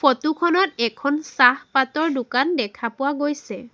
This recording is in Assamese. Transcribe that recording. ফটো খনত এখন চাহ পাতৰ দোকান দেখা পোৱা গৈছে।